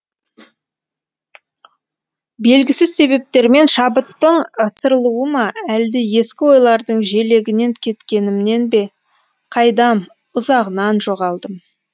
белгісіз себептермен шабыттың ысырылуы ма әлде ескі ойлардың желегінен кеткенімнен бе қайдам ұзағынан жоғалдым